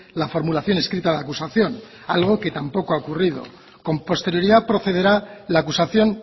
la formulación escrita de acusación algo que tampoco ha ocurrido con posterioridad procederá la acusación